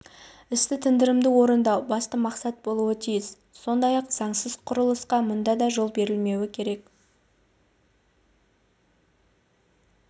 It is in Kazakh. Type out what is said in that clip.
істі тындырымды орындау басты мақсат болуы тиіс сондай-ақ заңсыз құрылысқа мұнда да жол берілмеуі керек